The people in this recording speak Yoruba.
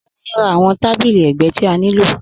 Tení n rá awọn tàbílí ẹgbẹ̀ ti a nilò.